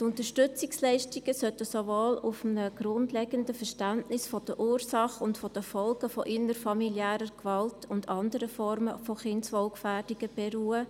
Die Unterstützungsleistungen sollten auf einem grundlegenden Verständnis der Ursachen und Folgen innerfamiliärer Gewalt und anderer Formen von Kindeswohlgefährdungen beruhen.